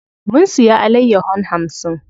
Mun siya alayyahon hamsin.